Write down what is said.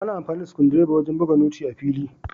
Ana amfani da sikundireba wajan buga noti a fili